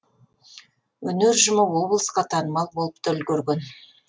өнер ұжымы облысқа танымал болып та үлгерген